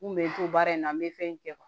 N kun bɛ n to baara in na n bɛ fɛn kɛ